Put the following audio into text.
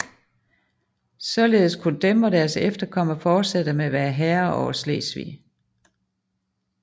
Således kunne dem og deres efterkommere fortsætte med at være herrer over Slesvig